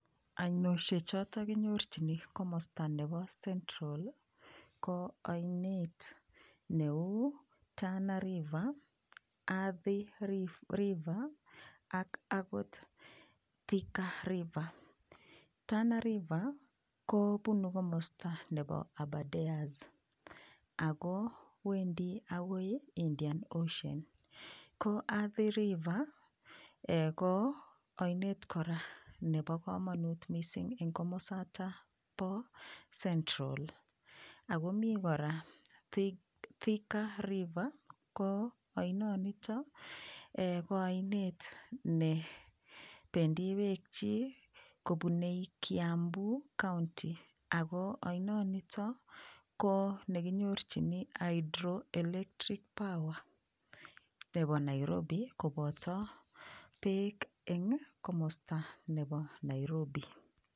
ainoshechoto kinyorchini komosta nebo central ko oinet neu Tana river Arthi river ak akot thika river Tana river kopunu komosta nepo abaders akowendi akoi indian ocean ko Arthi river ko oinet kora nepo komonut mising eng komosata po central akomi kora thika river ko oinoniton ko oinet nependii peek chii kopunei kiambuu county ako oinoniton ko nekinyorchini hydroelectric power nepo Nairobi kopoto peek eng' komosta nepo Nairobi